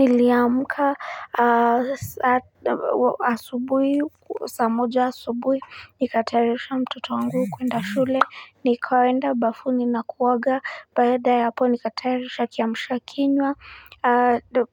Niliamka asubui, saa moja asubui, nikatayarisha mtoto wangu kuenda shule, nikaenda bafuni na kuoga, baada ya hapo nikatayarisha kiamsha kinywa,